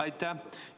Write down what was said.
Aitäh!